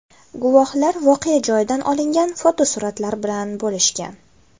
Guvohlar voqea joyidan olingan fotosuratlar bilan bo‘lishgan .